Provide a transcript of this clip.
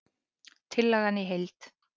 Tillagan í heild